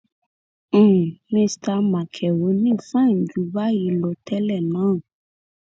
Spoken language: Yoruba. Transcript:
um mista makerónì fàìn jù báyìí lọ tẹlẹ náà